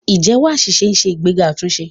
Ìjẹ́wọ́ àṣìṣe ń ṣe ìgbéga àtúnṣe.